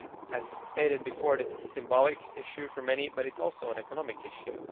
As stated before, this is a symbolic issue for many, but it is also an economic issue.